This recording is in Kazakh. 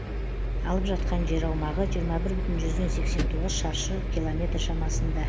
алып жатқан жер аумағы жиырма бір бүтін жүзден сексен тоғыз шаршы километр шамасында